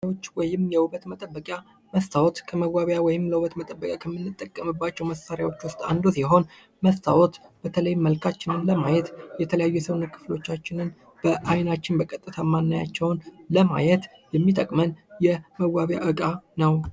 መዋቢያዎች ወይም የውበት መጠበቂያ መስታዎት ከመዋቢያ ወይም ከውበት መጠበቂያ ከምንጠቀምባቸው መሣሪያዎች ውስጥ አንዱ ሲሆን በተለይም መልካችንን ለማየት የተለያዩ ሰውነት ክፍሎቻችንን በአይናችን በቀጥታ እማናያቸውን ለማየት የሚጠቅመን የመዋቢያ እቃ ነው።